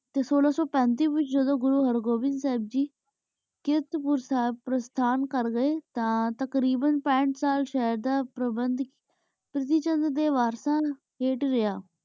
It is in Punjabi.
ਟੀ ਸੋਲਾ ਸੋ ਪਾਂਤਿ ਵੇਚ ਜਾਦੁਨ ਘੁਰੁ ਹੇਰ੍ਵੇੰਦਰ ਸਿੰਗ ਨੀ ਕਿਸਤ ਪਰ ਥਾਂ ਸਿੰਗ ਕਰ ਗੀ ਤਾਂ ਤ੍ਕ੍ਰੇਬਨ ਪਾਠ ਸਾਲ ਪੇਰ੍ਵੇੰਡ ਤੁਸੀਂ ਚੰਦ ਡੀ ਵਾਸਤਾ ਵੇਖ ਲਿਆ